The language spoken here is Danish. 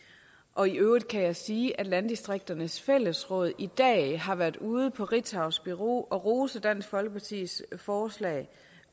og i øvrigt kan jeg sige at landdistrikternes fællesråd i dag har været ude på ritzaus bureau og rose dansk folkepartis forslag